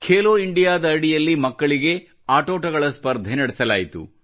Khelo India ದ ಅಡಿಯಲ್ಲಿ ಮಕ್ಕಳಿಗೆ ಆಟೋಟಗಳ ಸ್ಪರ್ಧೆ ನಡೆಸಲಾಯಿತು